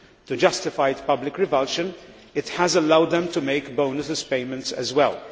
To justified public revulsion, it has allowed them to make bonus payments as well.